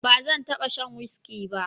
ba zan taba sha whiski ba